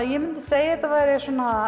ég myndi segja að þetta væri